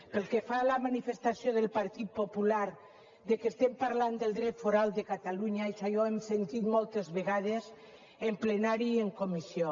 pel que fa a la manifestació del partit popular que estem parlant del dret foral de catalunya això ja ho hem sentit moltes vegades en plenari i en comissió